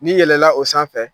N'i yɛlɛla o sanfɛ.